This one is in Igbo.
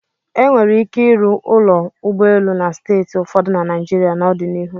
E nwere ike ịrụ ụlọ ụgbọelu na steeti ụfọdụ na Naịjirịa n'ọdịnihu.